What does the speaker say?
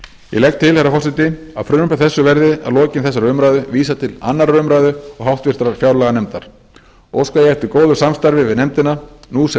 ég legg til herra forseti að frumvarpinu verði að lokinni þessari umræðu vísað til annarrar umræðu og háttvirtrar fjárlaganefndar óska ég eftir góðu samstarfi við nefndina nú sem